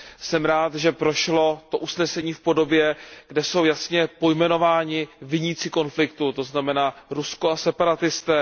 Jsem rád, že prošlo usnesení v podobě, kdy jsou jasně pojmenováni viníci konfliktu, to znamená Rusko a separatisté.